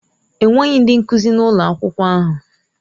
Enweghị ndị nkuzi na ụlọ akwụkwọ ahụ.